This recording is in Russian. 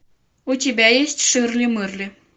у тебя есть ширли мырли